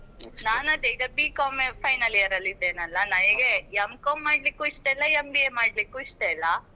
ನಾನು ಅದೇ ಈಗ B.Com final year ಅಲ್ಲಿ ಇದ್ದೇನಲ್ಲ ನನಿಗೆ M.Com ಮಾಡ್ಲಿಕ್ಕೂ ಇಷ್ಟ ಇಲ್ಲ MBA ಮಾಡಲಿಕ್ಕೂ ಇಷ್ಟ ಇಲ್ಲ,